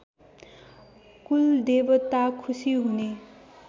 कुलदेवता खुसी हुने